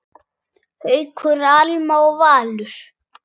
Haukur, Alma og Valur.